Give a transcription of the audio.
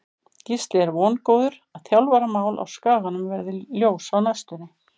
Gísli er vongóður að þjálfaramál á Skaganum verði ljós á næstunni.